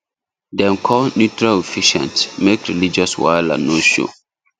dem call neutral officiant make religious wahala no show